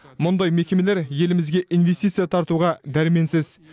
мұндай мекемелер елімізге инвестиция тартуға дәрменсіз